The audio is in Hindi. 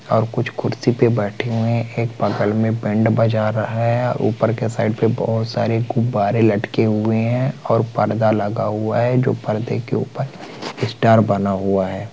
और कुछ कुर्सी पे बैठे हुए है एक बगल में बैंड बजा रहा है ऊपर के साइड पे बहुत सरे गुब्बारे लटके हुए है और पर्दा लगा हुआ है जो पर्दे के ऊपर स्टार बना हुआ है।